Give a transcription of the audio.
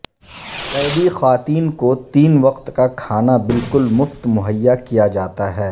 قیدی خواتین کو تین وقت کا کھانا بالکل مفت مہیا کیا جاتا ہے